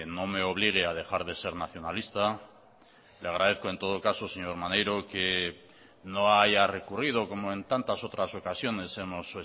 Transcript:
no me obligue a dejar de ser nacionalista le agradezco en todo caso señor maneiro que no haya recurrido como en tantas otras ocasiones hemos